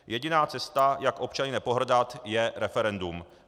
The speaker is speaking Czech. Jediná cesta, jak občany nepohrdat, je referendum.